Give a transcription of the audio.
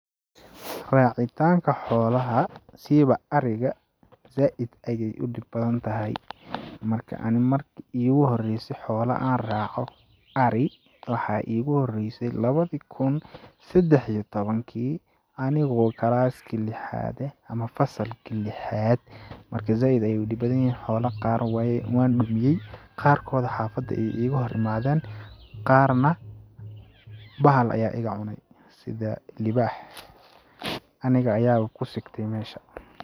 Raacitaanka xoolaha ,siiba ariga ,zaaid ayeey u dhib badan tahay ,marka ani marki iigu horeeyse xoola aan raaco, ari, waxaa iigu horeyse lawadi kun sedax iyo tawankii anigoo class ki lixaad eh ,ama fasalki lixaad ,marka zaaid ayuu u dhib badan yeh xoola qaar weey...waan dhumiyay ,qaar kood xafada ayeey iiga hor imadeen ,qaarna bahal ayaa iga cunay ,sida libaax ,aniga ayaaba ku sigtay meesha .